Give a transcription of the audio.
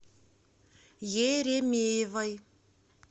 еремеевой